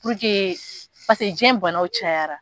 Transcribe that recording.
diɲɛ banaw cayara.